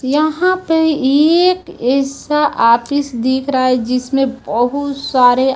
यहां पे एक ऐसा ऑफिस दिख रहा है जिसमें बहुत सारे--